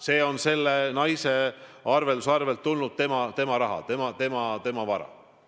See on selle naise arvelduskontolt tulnud ja tema raha, tema vara.